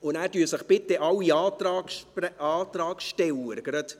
Danach loggen sich bitte gleich alle Antragsteller ein.